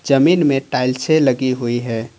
जमीन में टाइल्से लगी हुई है।